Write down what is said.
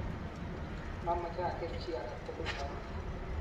mameche ageer chi age tugul rauni